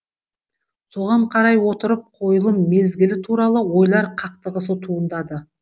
соған қарай отырып қойылым мезгілі туралы ойлар қақтығысы туындады